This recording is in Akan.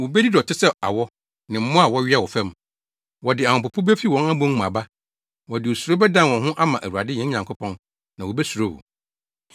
Wobedi dɔte sɛ awɔ, ne mmoa a wɔwea wɔ fam. Wɔde ahopopo befi wɔn abon mu aba; wɔde osuro bɛdan wɔn ho ama Awurade yɛn Nyankopɔn, na wobesuro wo.